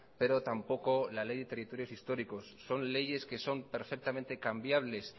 pero tampoco la ley de territorios históricos son leyes que son perfectamente cambiables